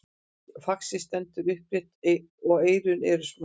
faxið stendur upprétt og eyrun eru smá